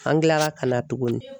An kilara ka na tugunni.